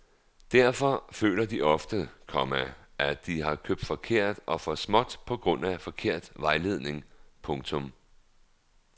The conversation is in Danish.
Derfor føler de ofte, komma at de har købt forkert og for småt på grund af forkert vejledning. punktum